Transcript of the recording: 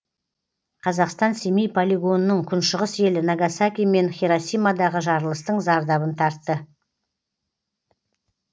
қазақстан семей полигонының күншығыс елі нагасаки мен хиросимадағы жарылыстың зардабын тартты